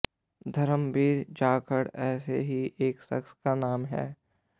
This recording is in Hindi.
धर्मवीर जाखड़ ऐसे ही एक शख्स का नाम है